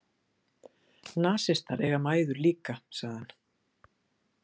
Nasistar eiga mæður líka, sagði hann.